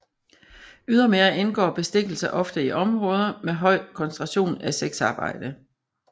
Ydermere indgår bestikkelse ofte i områder med høj koncentration af sexarbejde